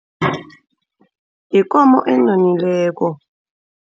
Yikomo enonileko.